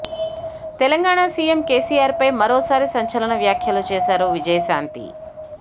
Telangana CM KCR పై మరోసారి సంచలన వ్యాఖ్యలు చేశారు విజయశాంతి